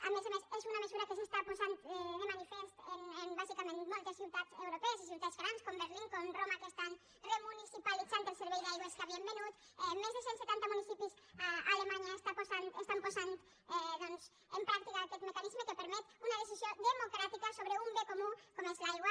a més a més és una mesura que s’està posant de manifest en bàsicament moltes ciutats europees i ciutats grans com berlín com roma que estan remunicipalitzant el servei d’aigües que havien venut més de cent setanta municipis a alemanya estan posant doncs en pràctica aquest mecanisme que permet una decisió democràtica sobre un bé comú com és l’aigua